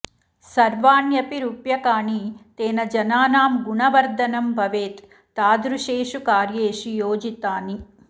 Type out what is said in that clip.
सर्वाण्यपि रूप्यकाणि तेन जनानां गुणवर्धनं भवेत् तादृशेषु कार्येषु योजितानि